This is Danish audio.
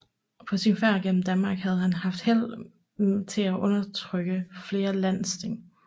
På sin færd gennem Danmark havde han haft held til at undertrykke flere landsting